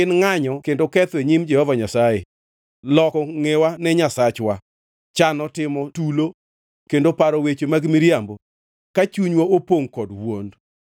ngʼanyo kendo ketho e nyim Jehova Nyasaye, loko ngʼewa ne Nyasachwa, chano timo tulo kendo paro weche mag miriambo ka chunywa opongʼ kod wuond.